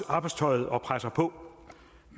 arbejdstøjet og presser på